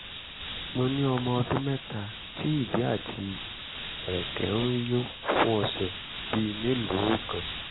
mo ní ọmọ ọdún mẹ́ta tí ìdí àti ẹ̀rẹ̀kẹ́ ń yún fún ọ̀sẹ̀ bíi mélòó kan